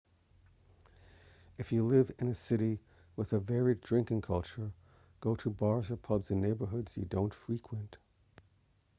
if you live in a city with a varied drinking culture go to bars or pubs in neighborhoods you don't frequent